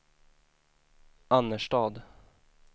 Annerstad